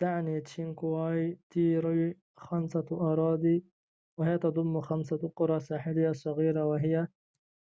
تعني تشينكوي تيري خمسة أراضي وهي تضم خمسة قرى ساحلية صغيرة وهي